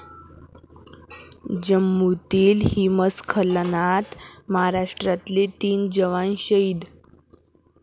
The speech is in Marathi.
जम्मूतील हिमस्खलनात महाराष्ट्रातले तीन जवान शहीद